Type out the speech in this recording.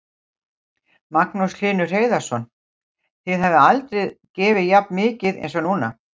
Magnús Hlynur Hreiðarsson: Þið hafið aldrei gefið jafn mikið eins og núna?